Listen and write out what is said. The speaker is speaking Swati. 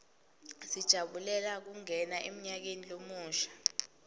sijabulela kungena emnyakeni lomusha